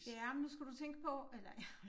Ja men nu skal du tænke på eller jeg